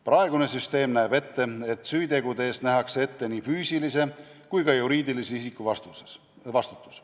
Praegune süsteem näeb ette, et süütegude eest nähakse ette nii füüsilise kui ka juriidilise isiku vastutus.